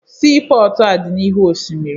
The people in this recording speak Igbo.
Siipọọtụ a dị n'ihu osimiri